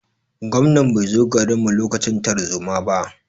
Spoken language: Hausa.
Gwamnan bai zo garin mu lokacin tarzoma ba.